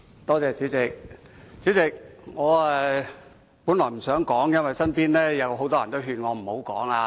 代理主席，我本來不想發言，因為身邊有很多人勸我不要發言。